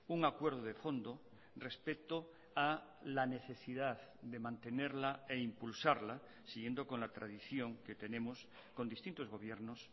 un acuerdo de fondo respecto a la necesidad de mantenerla e impulsarla siguiendo con la tradición que tenemos con distintos gobiernos